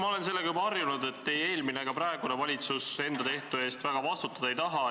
Ma olen sellega juba harjunud, et ei eelmine ega praegune valitsus enda tehtu eest väga vastutada ei taha.